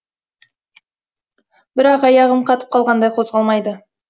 бірақ аяғым қатып қалғандай қозғалмайды